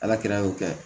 Ala kɛra y'o kɛ